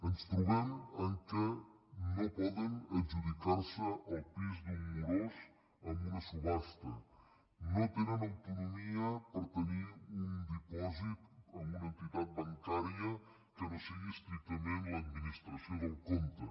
ens trobem que no poden adjudicar se el pis d’un morós en una subhasta no tenen autonomia per tenir un dipòsit en una entitat bancària que no sigui estrictament l’administració del compte